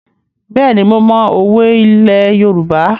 Bẹ́ẹ̀ni, mo mọ òwe ilẹ̀ Yorùbá.